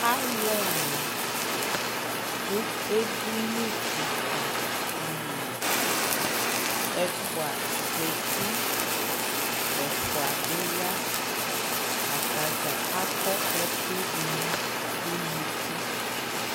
alʋɛ ɛna dʋ ɛdini kikaa dili, ɛƒʋa zati, ɛƒʋa bi bi ya, atagya akɔ ɛkʋ dʋnʋ ʋnʋkʋ